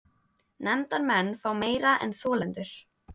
Nefndarmenn fá meira en þolendur